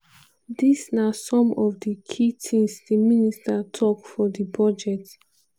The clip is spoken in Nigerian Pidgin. dis na some of of di key tins di minster tok for di budget.